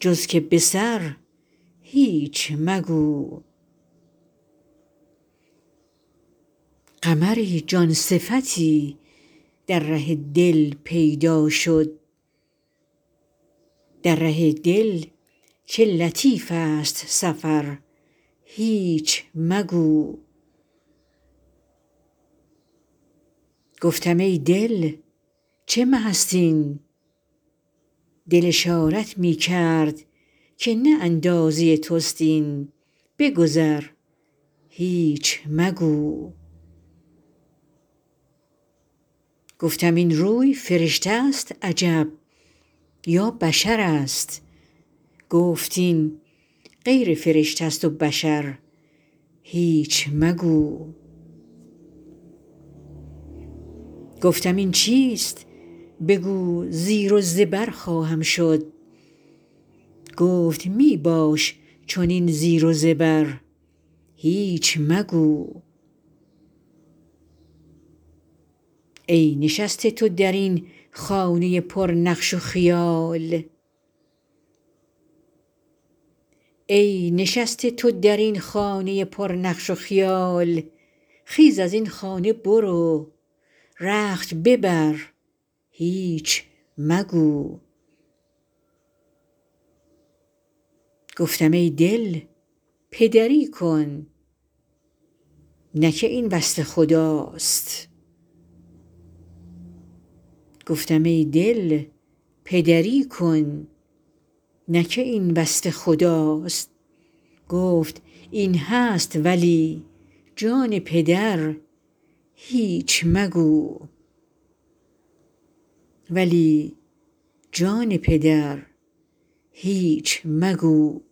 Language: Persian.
جز که به سر هیچ مگو قمری جان صفتی در ره دل پیدا شد در ره دل چه لطیف ست سفر هیچ مگو گفتم ای دل چه مه ست این دل اشارت می کرد که نه اندازه توست این بگذر هیچ مگو گفتم این روی فرشته ست عجب یا بشرست گفت این غیر فرشته ست و بشر هیچ مگو گفتم این چیست بگو زیر و زبر خواهم شد گفت می باش چنین زیر و زبر هیچ مگو ای نشسته تو در این خانه پرنقش و خیال خیز از این خانه برو رخت ببر هیچ مگو گفتم ای دل پدری کن نه که این وصف خداست گفت این هست ولی جان پدر هیچ مگو